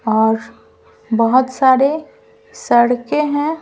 और बहुत सारे सड़कें हैं ।